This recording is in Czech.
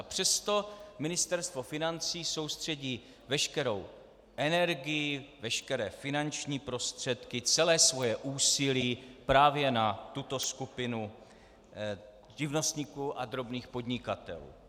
A přesto Ministerstvo financí soustředí veškerou energii, veškeré finanční prostředky, celé své úsilí právě na tuto skupinu živnostníků a drobných podnikatelů.